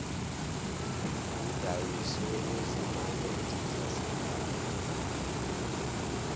kudayiswe ezimakhethe zasekhaya